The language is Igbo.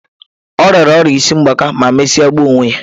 Ọ rịara ọrịa isi ngbaka ma mesịa gbuo onwe ya.